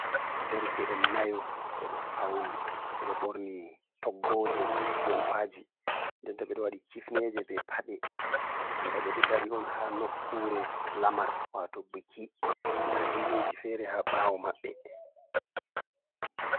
Derke'en nayo ɓe ɗo fauni ɓe ɗo ɓorni toggoje jompaji nden to ɓe ɗo waɗi kifneje be paɗe banta ɓe ɗo dari on ha nokkure lamar wato biki. Nda himɓeji fere ha ɓawo maɓɓe.